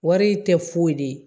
Wari tɛ foyi de ye